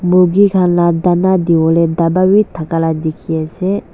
Murgi khan la dana diwole daba bi thaka la dekhi ase.